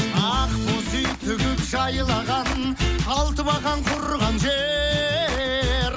ақ боз үй тігіп жайлаған алты бақан құрған жер